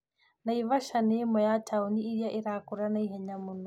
Naivasha nĩ ĩmwe ya taũni iria irakũra naihenya mũno